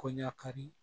Kɔɲa kari